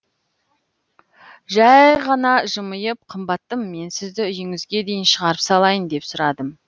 жәй қана жымиып қымбаттым мен сізді үйіңізге дейін шығарып салайын деп сұрадым